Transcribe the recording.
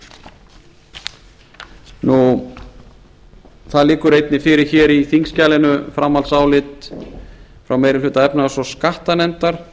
við reykjavíkurflugvöll það liggur einnig fyrir hér í þingskjalinu framhaldsálit frá meiri hluta efnahags og skattanefndar